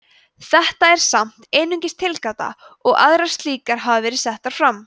þetta er samt einungis tilgáta og aðrar slíkar hafa verið settar fram